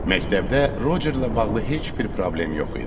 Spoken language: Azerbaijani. Məktəbdə Rocerlə bağlı heç bir problem yox idi.